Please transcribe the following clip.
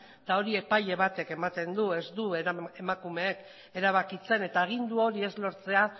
eta hori epaile batek ematen du ez du emakumeek erabakitzen eta agindu hori ez lortzea